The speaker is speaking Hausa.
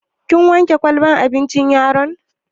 Kin wanke kwalbar abincin yaron?